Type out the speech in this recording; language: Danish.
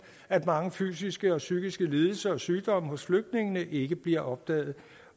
at mange fysiske og psykiske lidelser og sygdomme hos flygtningene ikke bliver opdaget